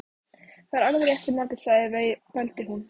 Það er alveg rétt sem Margrét segir, vældi hún.